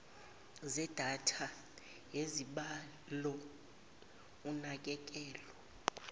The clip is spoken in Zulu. zedatha yezibalo unakekelo